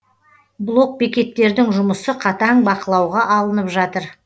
блок бекеттердің жұмысы қатаң бақылауға алынып жатыр